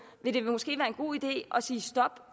måske vil være en god idé at sige stop